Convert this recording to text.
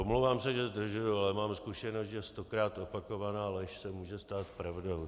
Omlouvám se, že zdržuju, ale mám zkušenost, že stokrát opakovaná lež se může stát pravdou.